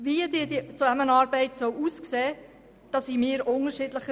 Wie diese Zusammenarbeit aussehen soll, sehen wir unterschiedlich.